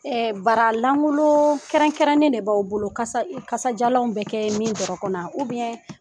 Baralankolo kɛrɛn-kɛrɛnnen de b'aw bolo kasadiyalanw bɛ kɛ min dɔrɔn kɔnɔ